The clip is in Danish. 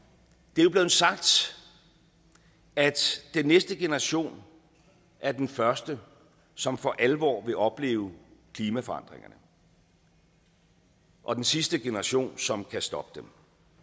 det er blevet sagt at den næste generation er den første som for alvor vil opleve klimaforandringerne og den sidste generation som kan stoppe dem